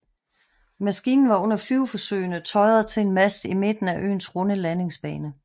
Maskinen var under flyveforsøgene tøjret til en mast i midten af øens runde landingsbane